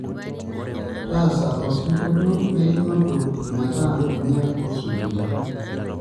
taasa osingolio leinoto meeta ninye osujita